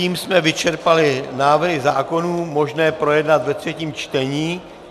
Tím jsme vyčerpali návrhy zákonů možné projednat ve třetím čtení.